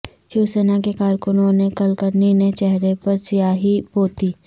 شیوسینا کے کارکنوں نےکلکرنی نے چہرے پر سیاہی پوتی